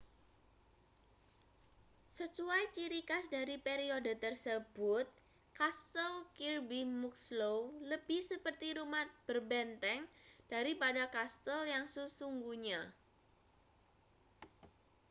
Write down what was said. sesuai ciri khas dari periode tersebut kastel kirby muxloe lebih seperti rumah berbenteng daripada kastel yang sesungguhnya